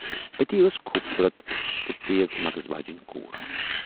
اَتی ٲس خوبصوٗرت تہٕ تیز مغٕز واجینۍ کوٗر۔